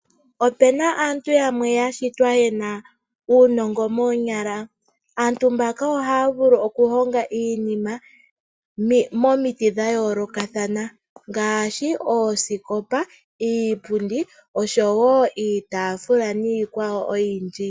Ope na aantu yamwe ya shitwa ye na uunongo moonyala. Aantu mbaka ohaya vulu okuhonga iinima momiti dha yoolokathana ngaashi oosikopa, iipundi oshowo iitaafula niikwawo oyindji.